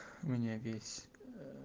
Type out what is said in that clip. мне весь